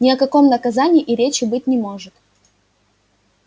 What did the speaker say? ни о каком наказании и речи быть не может